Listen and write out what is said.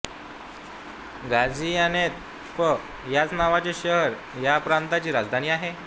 Gaziantep ह्याच नावाचे शहर ह्या प्रांताची राजधानी आहे